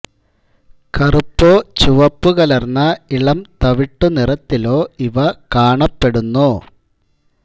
കറുപ്പോ ചുവപ്പു കലർന്ന ഇളം തവിട്ടു നിറത്തിലോ ഇവ കാണപ്പെടുന്നു